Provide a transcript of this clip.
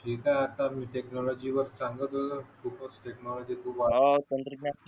हे काय टेक्नॉलॉजी वर सांगत होतो ना टेक्नॉलॉजी खूप आहे